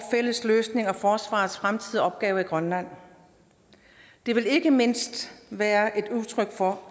fælles løsning af forsvarets fremtidige opgaver i grønland det vil ikke mindst være et udtryk for